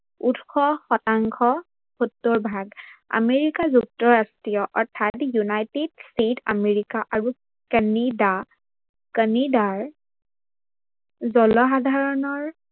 উৎস শতাংশ ষৌত্তৰ ভাগ। আমেৰিকা যুক্তৰাষ্ট্ৰীয় অৰ্থাৎ United state America আৰু কেনেডাৰ জনসাধাৰনৰ